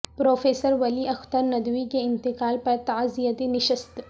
professor Wali Akhtar Nadvi کے انتقال پر تعزیتی نشست